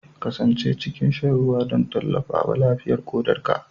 Kasance cikin shan ruwa don tallafawa lafiyar ƙodarka